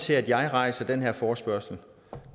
til at jeg rejste den her forespørgsel